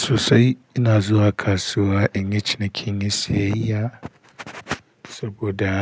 Sosai ina zuwa kasuwa in yi ciniki, in yi siyayya saboda